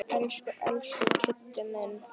Elsku, elsku Kiddi minn.